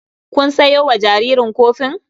Kun sayo wa jaririn kofin?